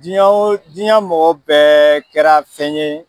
Diɲa o diɲa mɔgɔw bɛɛ kɛra fɛn ye